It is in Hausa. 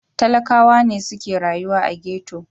Talakawa ne suke rayuwa a ghetto.